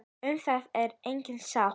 Um það er engin sátt.